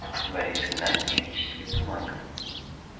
борис игнатьевич сильный маг